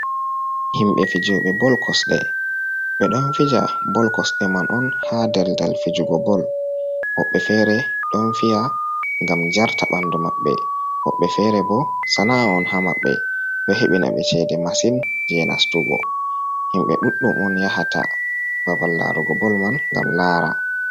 Himɓe fijooɓe bol kosɗe ɓe ɗon fija bol kosɗe man on, haa daldal fijugo bol .Woɓɓe feere ɗon fiya ngam jarta ɓanndu maɓɓe ,woɓɓe fere bo sana'a on ha maɓɓe. Ɗo heɓina ɓe ceede masin jey nastugo. Himɓe ɗuɗɗum on yahata babal larugo bol man ngam laara.